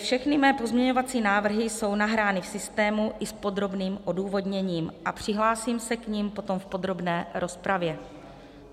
Všechny mé pozměňovací návrhy jsou nahrány v systému i s podrobným odůvodněním a přihlásím se k nim potom v podrobné rozpravě.